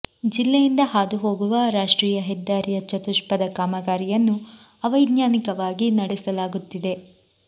ಜಿಲ್ಲೆಯಿಂದ ಹಾದು ಹೋಗುವ ರಾಷ್ಟ್ರೀಯ ಹೆದ್ದಾರಿಯ ಚತುಷ್ಪಥ ಕಾಮಗಾರಿಯನ್ನು ಅವೈಜ್ಞಾನಿಕವಾಗಿ ನಡೆಸಲಾಗುತ್ತಿದೆ